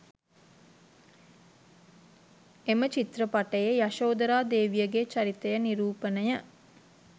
එම චිත්‍රපටයේ යශෝධරා දේවියගේ චරිතය නිරූපණය